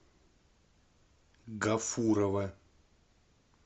гафурова